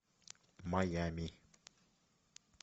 майами